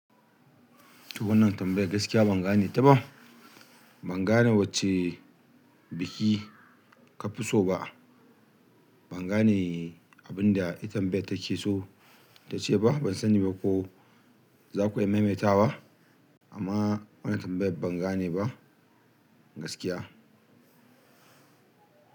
Wannan tambayar gaskiya ban gane ta ba. Ban gane wacce biki ka fi so ba. Ban gane abin da ita tambayar take so ta ce ba. Ban sani ko zaku iya mai mai tawa, amma wannan tambayar ban gane ba gaskiya.